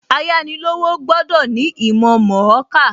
Ayánilówó gbọ́dọ̀ ní ìmọ̀ mọ̀ọ́kà.